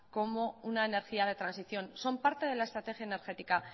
como una energía de transición son parte de la estrategia energética